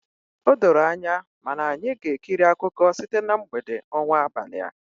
O doro anya, mana anyị ga-ekiri akụkọ site na mgbede ọnwa abalịa.